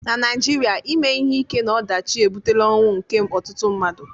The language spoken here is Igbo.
na Naịjirịa ime ihe ike na ọdachi ebutela ọnwụ nke ọtụtụ mmadụ